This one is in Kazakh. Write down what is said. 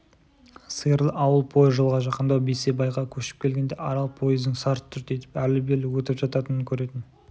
сиырлы ауыл пойыз жолға жақындау бейсебайға көшіп келгенде арал пойыздың сарт-сүрт етіп әрлі-бері өтіп жататынын көретін